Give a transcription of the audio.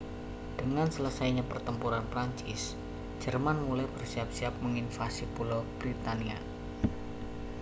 dengan selesainya pertempuran prancis jerman mulai bersiap-siap menginvasi pulau britania